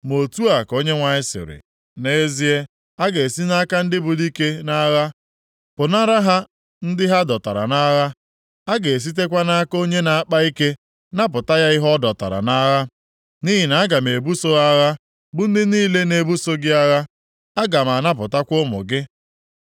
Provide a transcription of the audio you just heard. Ma otu a ka Onyenwe anyị sịrị, “Nʼezie, a ga-esi nʼaka ndị bụ dike nʼagha pụnara ha ndị ha dọtara nʼagha. A ga-esitekwa nʼaka onye na-akpa ike napụta ya ihe ọ dọtara nʼagha. Nʼihi na aga m ebuso ha agha bụ ndị niile na-ebuso gị agha. Aga m anapụtakwa ụmụ gị.